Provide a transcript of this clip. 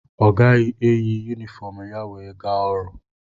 Ọ gaghị eyi yumifọm ya wee gaa ọrụ.